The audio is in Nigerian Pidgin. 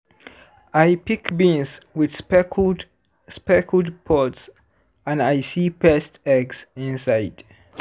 i pick beans with speckled speckled pods and i see pest eggs inside.